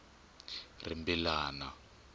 rimbilana